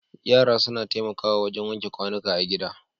Yara suna taimakawa wajen wanke kwanuka a gida.